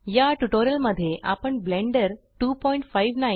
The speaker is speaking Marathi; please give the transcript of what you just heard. या ट्यूटोरियल मध्ये आपण ब्लेंडर 259